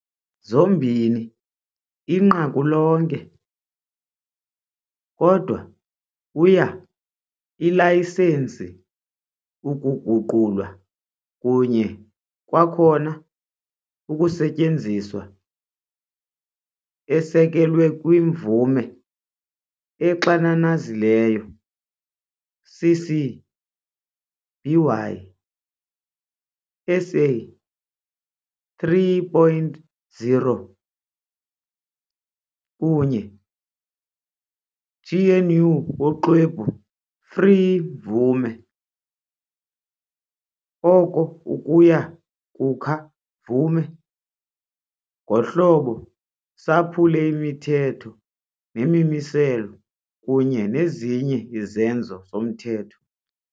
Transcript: Zombini inqaku lonke, kodwa uya ilayisensi ukuguqulwa kunye kwakhona ukusetyenziswa-esekelwe kwi-mvume exananazileyo CC-BY-SA 3.0 kunye GNU Woxwebhu Free mvume, oko uya kukha mvume ngohlobo saphule imithetho nemimiselo kunye nezinye izenzo zomthetho.